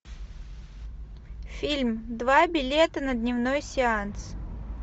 фильм два билета на дневной сеанс